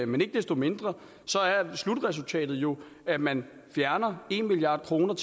men ikke desto mindre er slutresultatet jo at man fjerner en milliard kroner